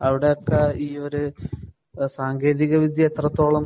അവിടത്തെ ഈ ഒരു സാങ്കേതിക വിദ്യ എത്രത്തോളം